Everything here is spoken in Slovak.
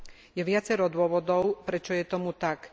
Je viacero dôvodov, prečo je tomu tak.